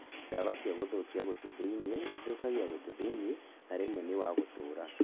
Ndawa cia gũthũkia gũtũ thĩiniĩ ithũkagia gũtũ thĩiniĩ, na rĩmwe nĩ wa gũtũra